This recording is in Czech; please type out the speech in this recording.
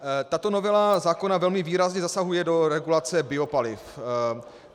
Tato novela zákona velmi výrazně zasahuje do regulace biopaliv.